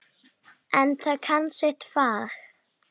En það kann sitt fag.